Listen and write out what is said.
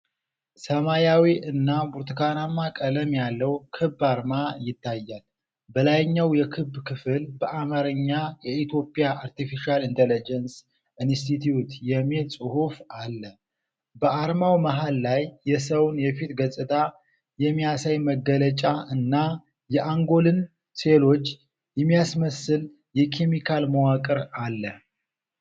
ሰማያዊ እና ብርቱካናማ ቀለም ያለው ክብ አርማ ይታያል። በላይኛው የክቡ ክፍል በአማርኛ "የኢትዮጵያ አርቴፊሻል ኢንተለጀንስ ኢንስቲትዩት" የሚል ጽሑፍ አለ። በአርማው መሃል ላይ የሰውን የፊት ገጽታ የሚያሳይ መገለጫ እና የአንጎልን ሴሎች የሚያስመስል የኬሚካል መዋቅር አለ።